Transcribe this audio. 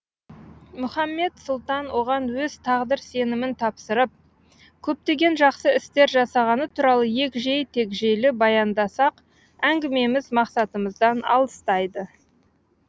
мұхаммед сұлтан оған өз тағдыр сенімін тапсырып көптеген жақсы істер жасағаны туралы егжей тегжейлі баяндасақ әңгімеміз мақсатымыздан алыстайды